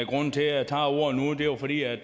ikke